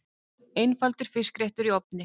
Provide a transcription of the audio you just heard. Einfaldur fiskréttur í ofni